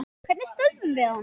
Hvernig stöðvum við hann?